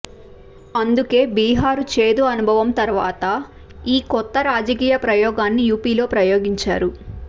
అందుకే బీహారు చేదు అనుభవం తర్వాత యీ కొత్త రాజకీయ ప్రయోగాన్ని యూపీలో ప్రయోగించారు